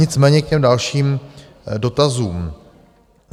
Nicméně k těm dalším dotazům.